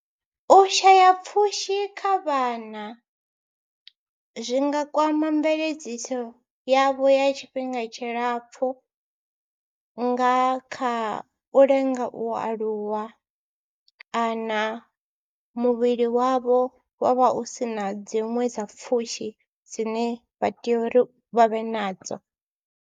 U shaya pfhushi kha vhana zwi nga kwama mveledziso yavho ya tshifhinga tshilapfhu nga kha u lenga u aluwa kana muvhili wavho wa vha u si na dziṅwe dza pfhushi dzine vha tea uri vha vhe nadzo.